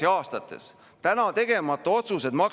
Ja Eesti ei tohi ärbelda siin teemal "Kahevõitlus Venemaaga".